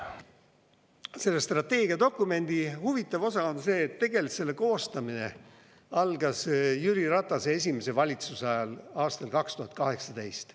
Selle strateegiadokumendi huvitav osa on see, et tegelikult selle koostamine algas Jüri Ratase esimese valitsuse ajal aastal 2018.